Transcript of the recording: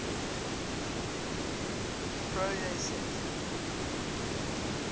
proyset